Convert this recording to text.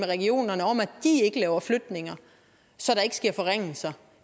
regionerne om at de ikke laver flytninger så der sker forringelser